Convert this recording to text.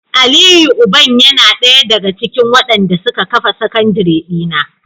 Aliyu uban yana daya daga cikin wadanda suka kafa sakandire dina